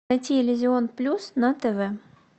найти иллюзион плюс на тв